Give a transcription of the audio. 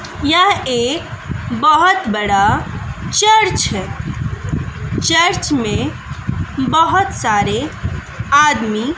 यह एक बहोत बड़ा चर्च है चर्च में बहोत सारे आदमी--